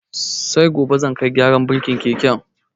Sai gobe zan kai gyaran burkin keken.